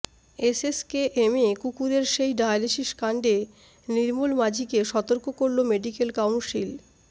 এসএসকেএমে কুকুরের সেই ডায়ালিসিস কাণ্ডে নির্মল মাজিকে সতর্ক করল মেডিক্যাল কাউন্সিল